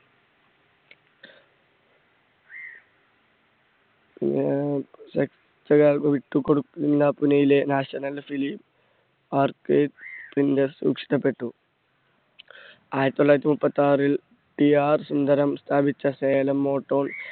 വിട്ടുകൊടുക്കില്ല പൂനയിലെ national film ഇഷ്ടപ്പെട്ടു. ആയിരത്തി തൊള്ളായിരത്തി മുപ്പത്താറിൽ PR സുന്ദരം സ്ഥാപിച്ച സേലം